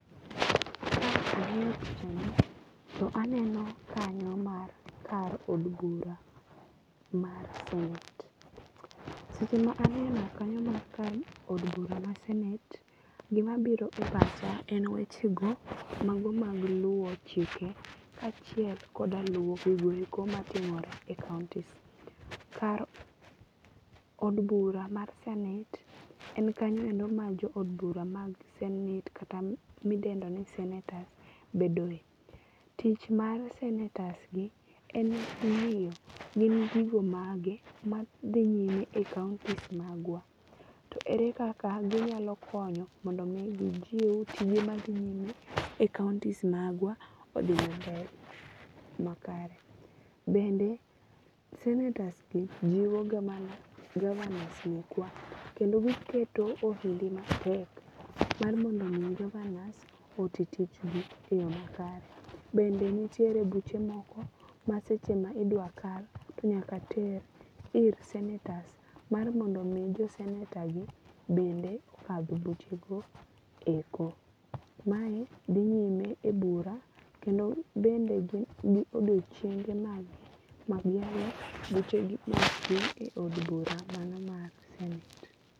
Ka ang'iyo picha ni to aneno kanyo mar kar od bura mar senate. Seche ma aneno kanyo mar kar od bura mar senate, gima biro e pacha en weche go mago mag luwo chike kachiel koda luwo gigo eko matimore e kauntis. Kar od bura mar senate en kanyo endo ma jo od bura mag senate kata midendo ni senators bedoe. Tich mar senators gi en ng'iyo gigo mage madhi nyime e kauntis magwa. To ere kaka ginyalokonyo mondo mi gjiew tije ma dhi nyime e kautis magwa odhi mbele makare. Bende sanators gi jiwoga mana governors mekwa kendo giketo ohindi matek mar mondo mi governors oti tich gi e yo makare. Bende nitiere buche moko ma seche ma idwa kal to nyaka ter ir senators mar mondo mi jo senator gi bende kadh buche go eko. Mae dhi nyime e bura kendo bende gin gi odiechienge mag gi magihero buche gi otimre e od bura mar senate.